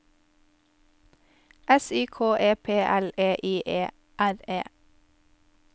S Y K E P L E I E R E